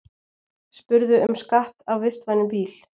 Spurðu um skatt af vistvænum bíl